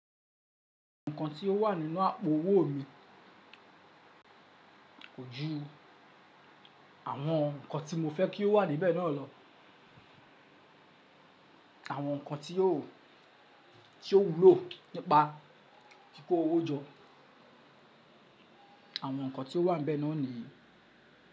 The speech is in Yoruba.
Ǹkan tí ó wà nínú àpo owó mi, kojú àwọn ǹkan tí mo fẹ́ kí ó wà níbẹ̀ náà lọ, àwọn ǹkan tí ó, tí ó wúlò nípa kíkó owó jọ, àwọn ǹkan tí ó wà níbẹ̀ náà nìyen.